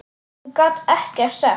Hún gat ekkert sagt.